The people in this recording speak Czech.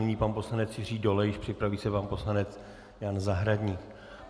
Nyní pan poslanec Jiří Dolejš, připraví se pan poslanec Jan Zahradník.